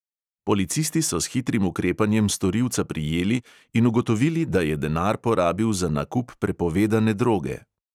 Policisti so s hitrim ukrepanjem storilca prijeli in ugotovili, da je denar porabil za nakup prepovedane droge.